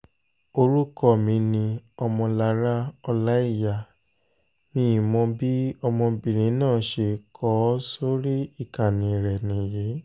orúkọ mi ni ọmọlára ọlàíyà mimok bí ọmọbìnrin náà ṣe kọ ọ́ sórí ìkànnì rẹ̀ nìyí